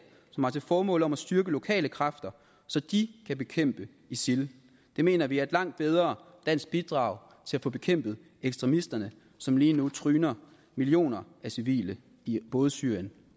som har til formål at styrke lokale kræfter så de kan bekæmpe isil det mener vi er et langt bedre dansk bidrag til at få bekæmpet ekstremisterne som lige nu tryner millioner civile i både syrien